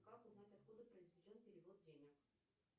как узнать откуда произведен перевод денег